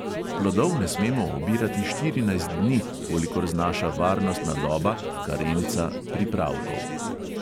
Plodov ne smemo obirati štirinajst dni, kolikor znaša varnostna doba pripravkov.